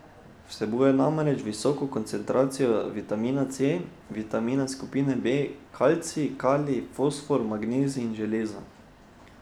Vsebuje namreč visoko koncentracijo vitamina C, vitamine skupine B, kalcij, kalij, fosfor, magnezij in železo.